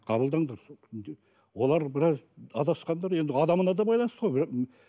қабылдаңдар олар біраз адасқандар енді адамына да байланысты ғой